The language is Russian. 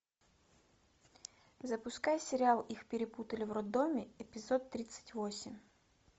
запускай сериал их перепутали в роддоме эпизод тридцать восемь